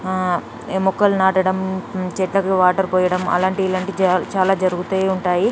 మొక్కలు నాటడం చెట్లకు వాటర్ పోయడం అలాంటి ఇలాంటి చాలా జరుగుతునే ఉంటాయి